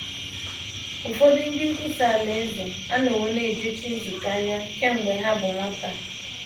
Ụfọdụ ndị nkwusa Alaeze anọwo na - ejechi nzukọ anya kemgbe ha bụ nwata.